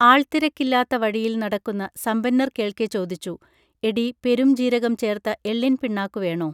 ആൾത്തിരക്കില്ലാത്ത വഴിയിൽ നടക്കുന്ന സമ്പന്നർ കേൾക്കെ ചോദിച്ചു എടീ പെരുംജീരകം ചേർത്ത എള്ളിൻ പിണ്ണാക്കു വേണോ